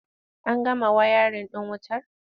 An gama wayarin ɗin wutar?